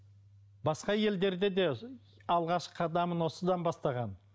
басқа елдерде де алғашқы қадамын осыдан бастаған